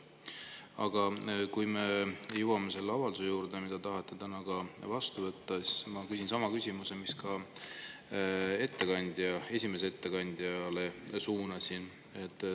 Aga kui me jõuame selle avalduse juurde, mille te tahate täna ka vastu võtta, siis ma küsin sama küsimuse, mille ma ka esimesele ettekandjale suunasin.